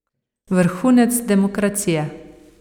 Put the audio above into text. Vrhunec demokracije.